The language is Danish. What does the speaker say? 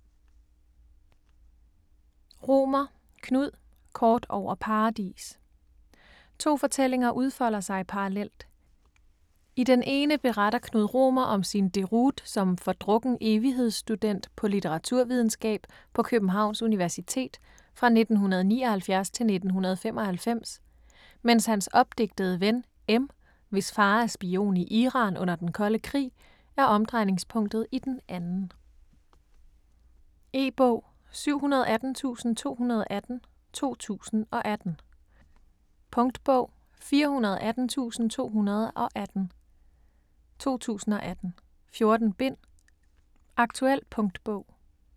Romer, Knud: Kort over Paradis To fortællinger udfolder sig parallelt. I den ene beretter Knud Romer om sin deroute som fordrukken evighedsstudent på litteraturvidenskab på Københavns Universitet fra 1979-1995, mens hans opdigtede ven, M, hvis far er spion i Iran under den kolde krig, er omdrejningspunktet i den anden. E-bog 718218 2018. Punktbog 418218 2018. 14 bind. Aktuel punktbog.